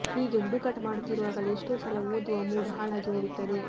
ಹೀಗೆ ಹುಡುಕಾಟ ಮಾಡುತ್ತಿರುವಾಗಲೇ ಎಷ್ಟೋ ಸಲ ಓದುವ ಮೂಡ್ ಹಾಳಾಗಿ ಹೋಗುತ್ತದೆ